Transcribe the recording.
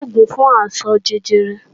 Kò sí òògùn fún àìsàn jẹjẹrẹ